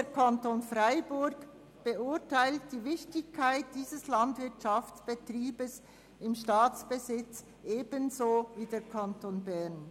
Der Kanton Freiburg beurteilt die Wichtigkeit dieses Landwirtschaftsbetriebs im Staatsbesitz also gleich wie der Kanton Bern.